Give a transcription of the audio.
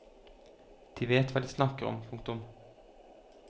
De vet hva de snakker om. punktum